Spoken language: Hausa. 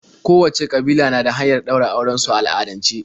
Kowacce ƙabila na da hanyar ɗaura auren su a al'adance.